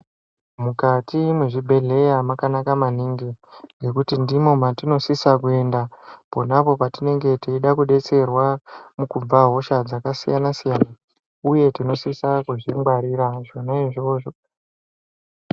Mukati mwezvibhedhleya mwakanaka maningi ngekuti ndimwo mwatinosisa kuenda ponapo patinenge teida kudetserwa kubva hosga dzakasiyana siyana uye tinosisa kudzingwarira zvona izvozvo.